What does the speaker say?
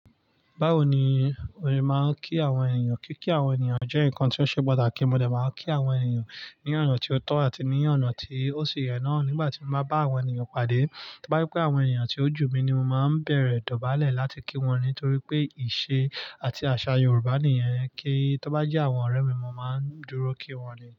Báwo ni ó se máa ń kí àwọn ènìyàn? Kíkí àwọn ènìyàn jẹ́ nǹkan tó ṣe pàtàkì. Mo dé máa ń kí àwọn ènìyàn ní ọ̀nà tí ó tọ́ àti ní ọ̀nà tí ó ṣi yẹn náà nígbà tí mo bá bá àwọn ènìyàn padà. Tóbá je pé àwọn ènìyàn tí ó jù mí ni mo máa ń bẹ̀rẹ̀ dọ̀bálẹ̀ láti kí wọn nítorí pé ìṣe àti àṣà Yorùbá nìyẹn. Kí tóbá je àwọn ọ̀rẹ́ mi, mo máa ń dúró kí wọ́n ni.